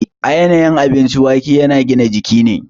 A yanayin abinci, waƙe yana gina jiki ne.